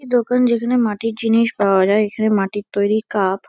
একটি দোকান যেখানে মাটির জিনিস পাওয়া যায় । এখানে মাটির তৈরী কাপ --